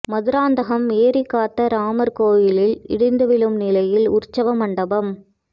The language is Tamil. மதுராந்கதம் ஏரிகாத்த ராமர் கோயிலில் இடிந்து விழும் நிலையில் உற்சவ மண்டபம்